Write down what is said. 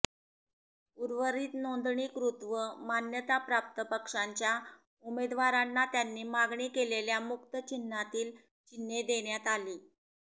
उर्वरित नोंदणीकृत व मान्यताप्राप्त पक्षांच्या उमेदवारांना त्यांनी मागणी केलेल्या मुक्त चिन्हांतील चिन्हे देण्यात आली